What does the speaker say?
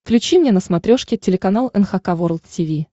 включи мне на смотрешке телеканал эн эйч кей волд ти ви